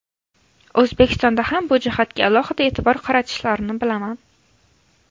O‘zbekistonda ham bu jihatga alohida e’tibor qaratishlarini bilaman.